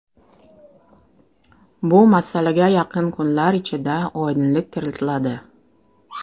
Bu masalaga yaqin kunlar ichida oydinlik kiritiladi.